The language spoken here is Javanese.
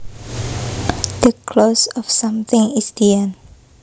The close of something is the end